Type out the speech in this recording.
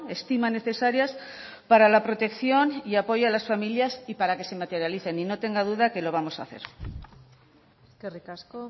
estima necesarias para la protección y apoyo a las familias y para que se materialicen y no tenga duda que lo vamos a hacer eskerrik asko